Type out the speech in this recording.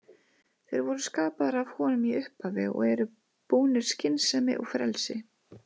Þeir voru skapaðir af honum í upphafi og eru búnir skynsemi og frelsi.